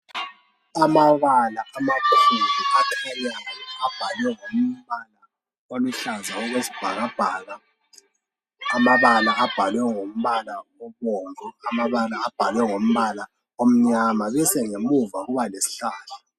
Amabala amakhulu akhanyayo abhalwe ngombala oluhlaza okwesibhakabhaka, amabala abhalwe ngombala obomvu, amabala abhalwe ngombala omnyama bese ngomuva kuba lesihlahla.